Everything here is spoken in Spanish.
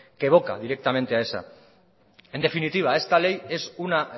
que evoca directamente a esa en definitiva esta ley es una